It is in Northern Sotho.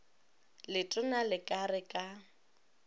letona le ka re ka